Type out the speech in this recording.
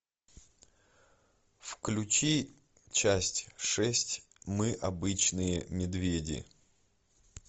включи часть шесть мы обычные медведи